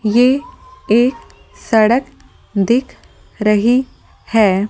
ये एक सड़क दिख रही है ।